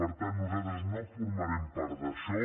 per tant nosaltres no forma·rem part d’això